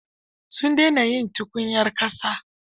Sun dena yin tukunyar ƙasa.